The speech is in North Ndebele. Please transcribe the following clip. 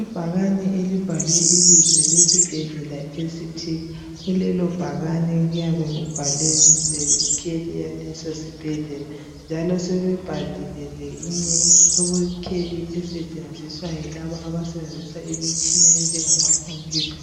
Ibhakane elibhalwe ibizo lesibhedlela esithi kulelo bhakane kuyabe kubhalwe lekheli yaleso sibhedlela njalo sebebhalile leyinye ikheli esetshenziswa yilaba abasebenzisa imitshina enjengama khompiyutha.